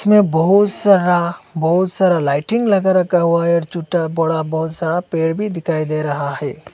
में बहुत सारा बहुत सारा लाइटिंग लगा रखा हुआ है छूटा बड़ा बहोत सारा पेड़ भी दिखाई दे रहा है।